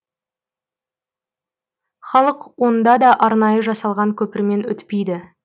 халық онда да арнайы жасалған көпірмен өтпейді